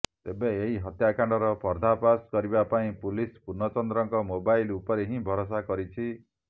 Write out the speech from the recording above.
ତେବେ ଏହି ହତ୍ୟାକାଣ୍ଡର ପର୍ଦାଫାସ କରିବା ପାଇଁ ପୁଲିସ ପୂର୍ଣ୍ଣଚନ୍ଦ୍ରଙ୍କ ମୋବାଇଲ୍ ଉପରେ ହିଁ ଭରସା କରିଛି